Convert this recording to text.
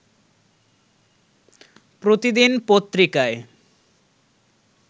প্রতিদিন পত্রিকায়